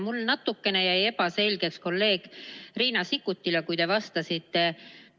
Mulle jäi natukene ebaselgeks see, mida te kolleeg Riina Sikkutile vastasite.